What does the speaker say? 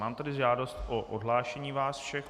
Mám tady žádost o odhlášení vás všech.